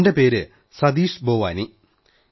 എന്റെ പേര് സതീശ് ബേവാനി എന്നാണ്